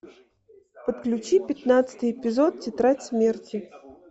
подключи пятнадцатый эпизод тетрадь смерти